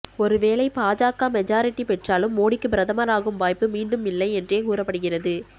ஒருவேளை பாஜக மெஜாரிட்டி பெற்றாலும் மோடிக்கு பிரதமராகும் வாய்ப்பு மீண்டும் இல்லை என்றே கூறப்படுகிறது